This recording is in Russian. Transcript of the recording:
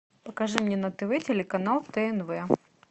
покажи мне на тв телеканал тнв